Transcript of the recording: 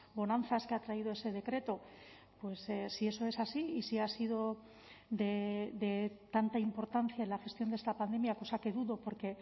bonanzas que ha traído ese decreto si eso es así y si ha sido de tanta importancia en la gestión de esta pandemia cosa que dudo porque